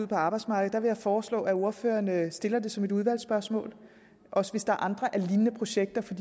på arbejdsmarkedet vil jeg foreslå at ordføreren stiller det som et udvalgsspørgsmål også hvis der er lignende projekter for